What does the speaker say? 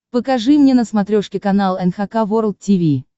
покажи мне на смотрешке канал эн эйч кей волд ти ви